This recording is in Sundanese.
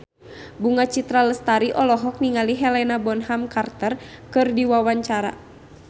Bunga Citra Lestari olohok ningali Helena Bonham Carter keur diwawancara